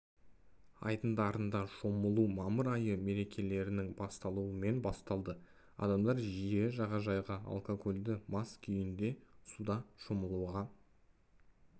айдындарында шомылу мамыр айы мерекелерінің басталуымен басталады адамдар жиі жағажайға алкогольді мас күйінде суда шомылуға